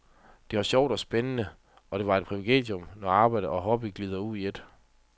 Det var sjovt og spændende, og det er et privilegium, når arbejde og hobby glider ud i et.